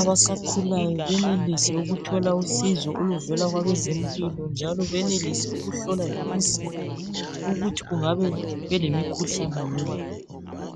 abasakhulayo benelise ukuthola uncedo oluvela kwabezempilo njalo benelise ukuhlolwa lemizimba yabo ukuthi bengabe belemikhuhlane yini.